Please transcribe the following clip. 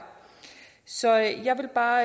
så jeg vil bare